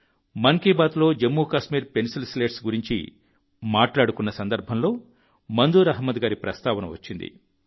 మన్ కీ బాత్లో Jammu Kashmir pencil slates గురించి మాట్లాడుకున్న సందర్భంలో మంజూర్ అహ్మద్ గారి ప్రస్తావన వచ్చింది